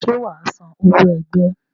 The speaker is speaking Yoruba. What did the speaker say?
Ṣé wà á san owó ẹgbẹ́?